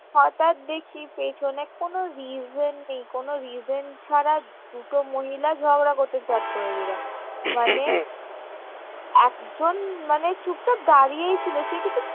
হঠাৎ দেখি পিছনে কোনো reason নেই কোনো reason ছাড়া দুটো মহিলা ঝগড়া করতে স্টার্ট করে দিলো মানে একজন মানে চুপচাপ দাঁড়িয়েই ছিলো সে কিছু